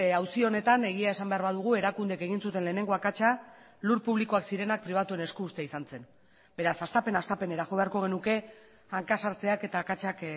auzi honetan egia esan behar badugu erakundeek egin zuten lehenengo akatsa lur publikoak zirenak pribatuen esku uztea izan zen beraz hastapen hastapenera jo beharko genuke hanka sartzeak eta akatsak